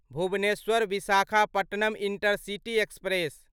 Bhubaneswar Visakhapatnam intercity express